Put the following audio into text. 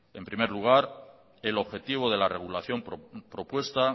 en primer lugar el objetivo de la regulación propuesta